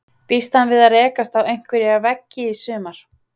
Býst hann við að rekast á einhverja veggi í sumar?